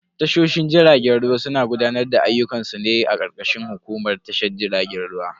Tashoshin jiragen ruwa suna gudanar da ayyukan su ne a karkashin hukumar tashar jiragen ruwa.